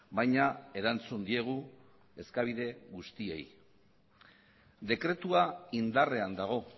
baina erantzun diegu eskabide guztiei dekretua indarrean dago